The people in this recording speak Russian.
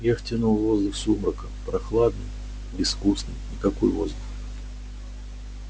я втянул воздух сумрака прохладный безвкусный никакой воздух